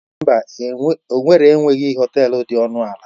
Mba, owerri enweghị họtel dị ọnụ ala.